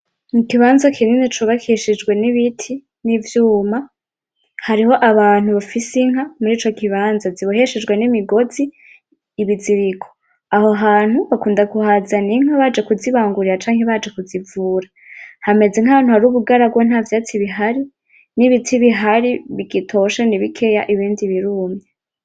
N'ikibanza kinini cubakishijwe n'ibiti n'ivyuma, hariho abantu bafise inka mur' ico kibanza, ziboheshejwe n'imigozi; ibiziriko. Aho hantu bakunda kuhazana inkwi baje kuzibangurira canke baje kuzivura, hameze nka hantu hari ubugaragwa nta vyatsi bihari, n'ibiti bihari bigitoshe ni bikeya, ibindi birumye.